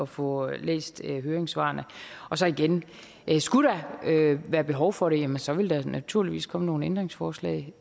få læst høringssvarene og så igen skulle der være behov for det jamen så vil der naturligvis komme nogle ændringsforslag